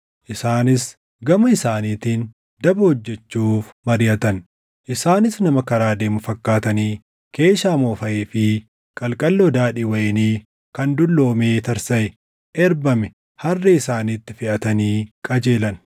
isaanis gama isaaniitiin daba hojjechuuf mariʼatan; isaanis nama karaa deemu fakkaatanii keeshaa moofaʼee fi qalqalloo daadhii wayinii kan dulloomee tarsaʼee erbame harree isaaniitti feʼatanii qajeelan.